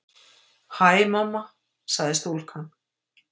Hæ, mamma- sagði stúlkan.